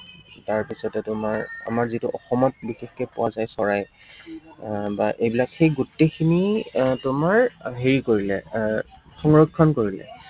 তাৰপিছতে তোমাৰ আমাৰ যিটো অসমত বিশেষকৈ পোৱা যায় চৰাই আহ বা এইবিলাক, সেই গোটেইখিনি আহ তোমাৰ হেৰি কৰিলে আহ সংৰক্ষণ কৰিলে